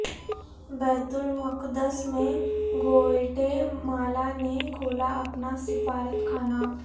بیت المقدس میں گوئٹے مالا نے کھولا اپنا سفارتخانہ